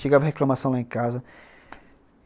Chegava reclamação lá em casa.